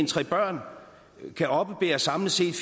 tre børn kan oppebære samlet set